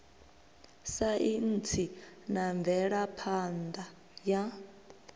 saintsi na mvelaphan ḓa ya